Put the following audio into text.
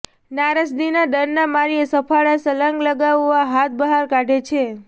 નારદજી ડરના માર્યા સફાળા છલાંગ લગાવા હાથ બહાર કાઢે છે